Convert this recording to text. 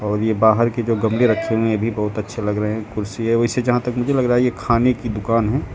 और ये बाहर के जो गमले रखे हुए हैं ये भी बहुत अच्छे लग रहे हैं कुर्सी है वैसे जहां तक मुझे लग रहा है ये खाने की दुकान है।